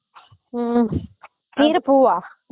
உம் கீரப்பூவா